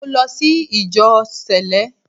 Mo lọ sí ìjọ Sẹ̀lẹ́